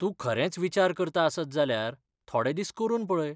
तूं खरेंच विचार करता आसत जाल्यार थोडे दीस करून पळय.